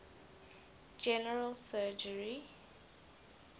general surgery